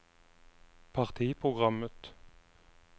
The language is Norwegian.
partiprogrammet